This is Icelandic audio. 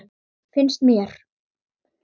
Finnst mér.